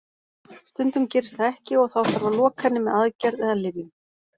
Stundum gerist það ekki og þá þarf að loka henni með aðgerð eða lyfjum.